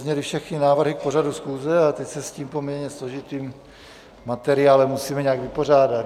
Zazněly všechny návrhy k pořadu schůze a teď se s tím poměrně složitým materiálem musíme nějak vypořádat.